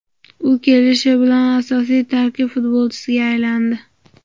U kelishi bilanoq asosiy tarkib futbolchisiga aylandi.